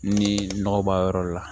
Ni nɔgɔ b'a yɔrɔ la